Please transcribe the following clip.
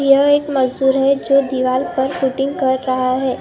ये एक मजदूर है जो दीवार पर पुटिंग कर रहा है।